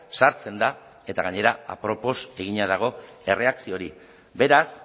sartzen da eta gainera apropos egina dago erreakzio hori beraz